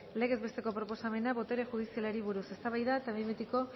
legez besteko proposamena botere judizialari buruz eztabaida eta behin betiko